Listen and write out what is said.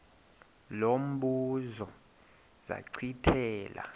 lo mbuzo zachithela